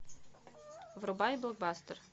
врубай блокбастер